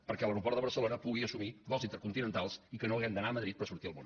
perquè l’aeroport de barcelona pugui assumir vols intercontinentals i que no hàgim d’anar a madrid per sortir al món